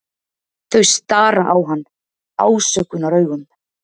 Þau stara á hann ásökunaraugum.